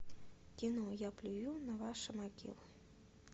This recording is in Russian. кино я плюю на ваши могилы